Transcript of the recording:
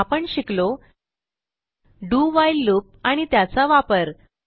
आपण शिकलो do while loop आणि त्याचा वापर